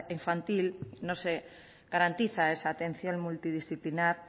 infantil no se garantiza esa atención multidisciplinar